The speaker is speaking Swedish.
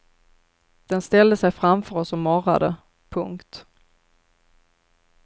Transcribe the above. Den ställde sej framför oss och morrade. punkt